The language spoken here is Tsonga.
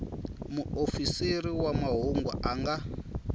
muofisiri wa mahungu a nga